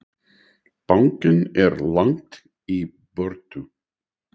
Bankinn er langt í burtu.